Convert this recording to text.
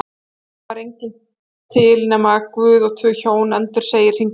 Einusinni var enginn til nema Guð og tvö Hjón, endursegir Hringur